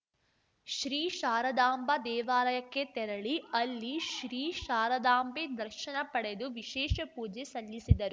ಶ್ರೀ ಶಾರಾದಾಂಬಾ ದೇವಾಲಯಕ್ಕೆ ತೆರಳಿ ಅಲ್ಲಿ ಶ್ರೀ ಶಾರದಾಂಬೆ ದರ್ಶನ ಪಡೆದು ವಿಶೇಷ ಪೂಜೆ ಸಲ್ಲಿಸಿದರು